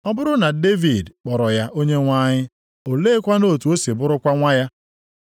Ọ bụrụ na Devid kpọrọ ya ‘Onyenwe anyị,’ oleekwanụ otu o si bụrụkwa nwa ya?”